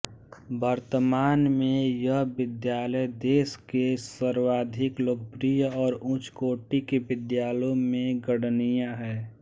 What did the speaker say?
वर्तमान में यह विद्यालय देश के सर्वाधिक लोकप्रिय और उच्चकोटि के विद्यालयों में गणनीय है